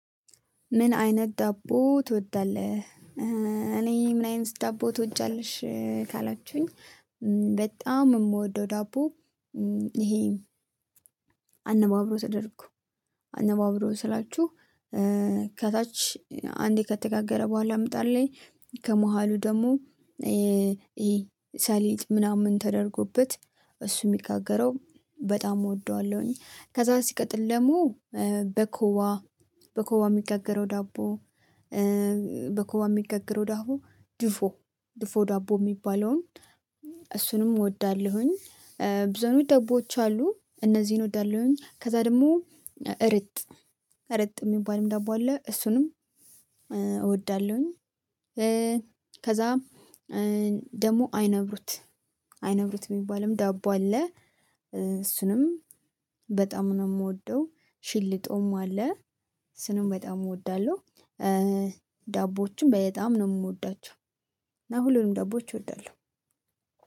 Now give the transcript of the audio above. ምን አይነት ዳቦ ትወዳለህ? እኔ ምን አይነት ዳቦ ትወጃለሽ? ካላችሁኝ በጣም የምወደው ዳቦ ይሄም አነባብሮ ተደርጎ አነባብሮ ስላችሁ ከታች አንዴ ከተጋገረ በኋላ ምጣድ ላይ ከመሃሉ ደግሞ ይሄ ሰሊጥ ምናምን ተደርጎበት እሱ የሚጋገረው በጣም እወደዋለሁኝ። ከዛ ሲቀጥል ደግሞ በኮባ በኮባ የሚጋገረው ዳቦ በኮባ የሚጋገረው ዳቦ ድፎ ድፎ ዳቦ የሚባለውን እሱንም እወዳለሁኝ። ብዙ አይነት ዳቦዎች አሉ። እነዚህን እወዳለሁኝ። ከዛ ደግሞ እርጥ እርጥ የሚባል ዳቦ አለ። እሱንም እወዳለሁኝ። ከዛም ደግሞ አይነብሩት አይነብሩት የሚባልም ዳቦ አለ እሱንም በጣም ነው የምወደው። ሽልጦም አለ። እሱንም በጣም እወዳለሁ። ዳቦዎችን በጣም ነው የምወዳቸው። እና ሁሉንም ዳቦዎች እወዳለሁ።